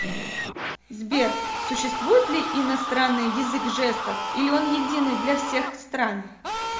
сбер существует ли иностранный язык жестов или он единый для всех стран